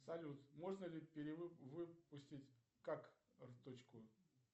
салют можно ли перевыпустить карточку